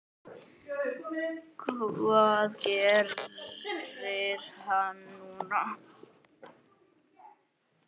Hvað gerir hann núna?